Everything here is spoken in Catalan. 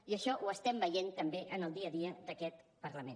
i això ho estem veient també en el dia a dia d’aquest parlament